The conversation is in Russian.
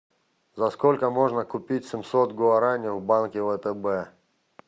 за сколько можно купить семьсот гуарани в банке втб